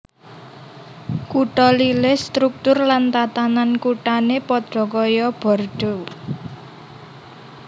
Kutha Lille struktur lan tatanan kuthane padha kaya Bordeaux